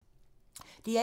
DR1